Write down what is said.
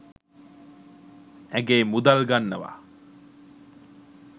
ඇගේ මුදල් ගන්නවා